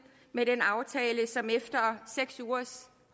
med den aftale som efter seks ugers